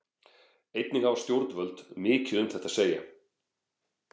Einnig hafa stjórnvöld mikið um þetta að segja.